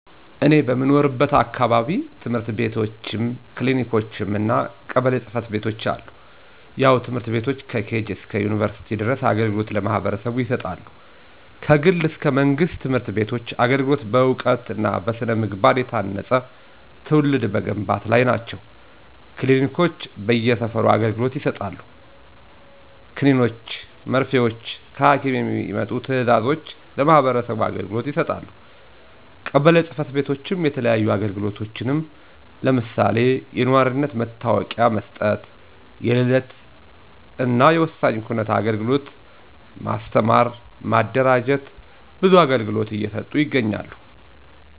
እኔ በምኖርበት አካባቢ፦ ትምህርት ቤትችም፣ ክሊኒኮችም እና ቀበሌ ጽ/ቤቶች አሉ። ያው ትምህርት ቤቶች ከኬጅ እስከ ዩንቨርስቲ ድረስ አገልግሎት ለማህበረሰቡ ይሰጣሉ። ከግል እስከ መንግስት ትምህርት ቤቶች አገልግሎት በእውቀት እና በስነ-ምግባ የታነፀ ትውልድ መገንባት ላይ ናቸው። ክሊኒኮች በየ ሰፈሩ አገልግሎት ይሰጣሉ። ከኒኖችን መርፊወችን ከሀኪም የሚመጡ ትዛዞችን ለማህበረሰቡ አገልግሎት ይሰጣሉ። ቀበሌ ፅ/ቤቶችም የተለያዩ አግልግሎቶችን ለምሳሌ፦ የኗሪነት መታወቂያ መስጠት፣ የልደት እናወሳኝ ኩነት አግልግሎት፣ ማስተማር ማደራጀት ብዙ አገልግሎት እየሰጡ ይገኛሉ።